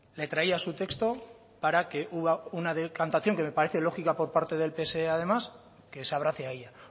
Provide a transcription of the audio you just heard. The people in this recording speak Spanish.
le traía su texto para que una decantación que me parece lógica por parte del pse que se abrace a ella